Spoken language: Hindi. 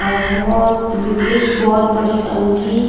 और एक बहोत एक बहोत बड़ी टंकी--